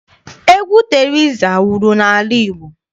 Egwu Teriza wuru n'ala Igbo.